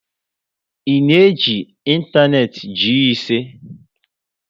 I na eji ịntanetị Gii ise?